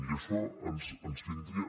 i això ens vindria